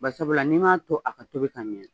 Barisabula n' i m'a to a ka tobi ka ɲɛ.